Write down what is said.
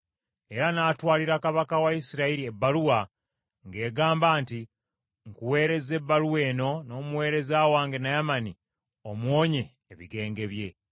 Era n’atwalira kabaka wa Isirayiri ebbaluwa, ng’egamba nti, “Nkuweerezza ebbaluwa eno n’omuweereza wange Naamani omuwonye ebigenge bye.”